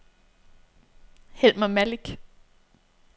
Helmer Malik